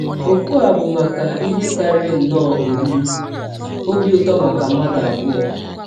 Ọ̀kụ a bụ maka ihe karịrị nnọọ oriri ọbi ụtọ maka mmadụ abụọ.